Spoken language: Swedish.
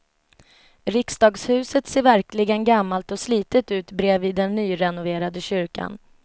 Riksdagshuset ser verkligen gammalt och slitet ut bredvid den nyrenoverade kyrkan.